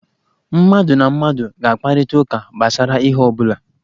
Mmadụ na mmadụ ga-akparịta ụka gbasara ihe ọ bụla.